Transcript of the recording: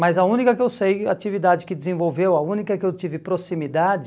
Mas a única que eu sei, a atividade que desenvolveu, a única que eu tive proximidade